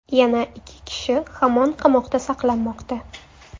Yana ikki kishi hamon qamoqda saqlanmoqda.